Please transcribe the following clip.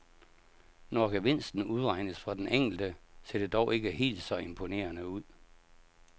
Når gevinsten udregnes for den enkelte, ser det dog ikke helt så imponerende ud.